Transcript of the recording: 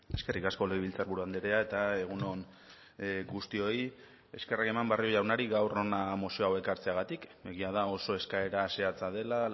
eskerrik asko legebiltzarburu andrea eta egun on guztioi eskerrak eman barrio jaunari gaur hona mozio hau ekartzeagatik egia da oso eskaera zehatza dela